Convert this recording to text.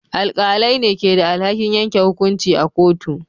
Alƙalai ne ke da alhakin yanke hukunci a kotu.